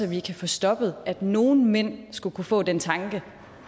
vi kan få stoppet at nogle mænd skulle kunne få den tanke